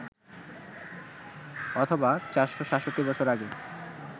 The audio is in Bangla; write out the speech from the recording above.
অথবা ৪৬৭ বছর আগে